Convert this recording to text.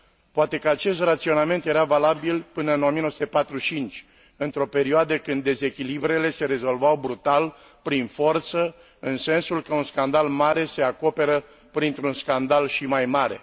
Poate că acest raționament era valabil până în 1945, într o perioadă când dezechilibrele se rezolvau brutal, prin forță, în sensul că un scandal mare se acoperă printr un scandal și mai mare.